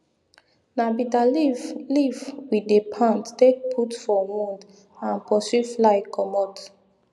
na bitta leaf leaf we dey pound take put for wound and pursue fly commot